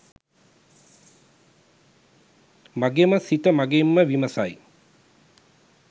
මගෙම සිත මගෙන්ම විමසයි.